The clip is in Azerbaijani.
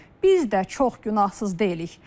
Biz də çox günahsız deyilik.